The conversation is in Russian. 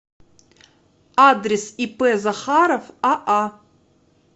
адрес ип захаров аа